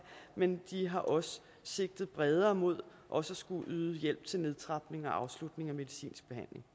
men de har også sigtet bredere mod også at skulle yde hjælp til nedtrapning og afslutning af medicinsk